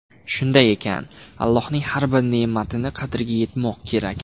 Shunday ekan, Allohning har bir ne’matining qadriga yetmoq kerak.